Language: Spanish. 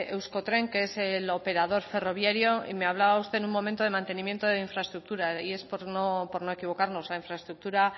euskotren que es el operador ferroviario y me hablaba usted en un momento de mantenimiento de infraestructura y es por no equivocarnos la infraestructura